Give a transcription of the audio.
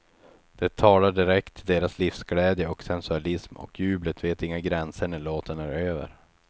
Det talar direkt till deras livsglädje och sensualism och jublet vet inga gränser när låten är över.